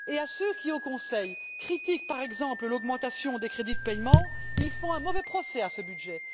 Ceux qui, au Conseil, critiquent par exemple l'augmentation des crédits de paiement font un mauvais procès à ce budget.